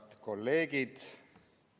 Head kolleegid!